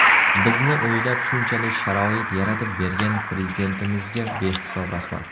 Bizni o‘ylab shunchalik sharoit yaratib bergan Prezidentimizga behisob rahmat.